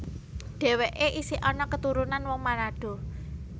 Dhèwèké isih ana keturunan wong Manado